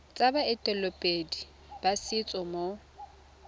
tsa baeteledipele ba setso mo